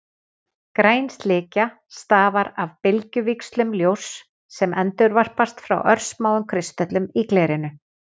Græn slikja stafar af bylgjuvíxlum ljóss sem endurvarpast frá örsmáum kristöllum í glerinu.